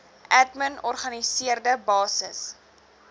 admin organiseerde basis